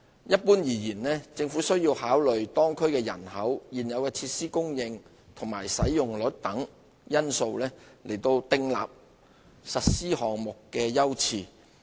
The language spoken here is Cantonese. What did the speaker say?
一般而言，政府需要考慮當區人口、現有設施供應和使用率等因素，訂立實施項目的優次。